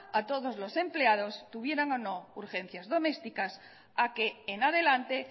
a todos los empleados tuvieran o no urgencias domésticas a que en adelante